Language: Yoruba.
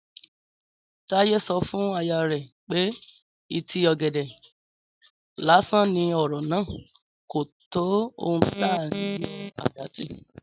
Táyé sọ fún aya rẹ̀ pé ìtí ọ̀gẹ̀dẹ̀ lásán ní ọ̀rọ̀ náà, kò tó ohun à ń yọ àdá tì